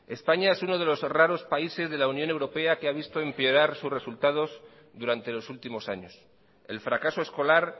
españa es uno de los raros países de la unión europea que ha visto empeorar sus resultados durante los últimos años el fracaso escolar